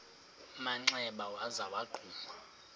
manxeba waza wagquma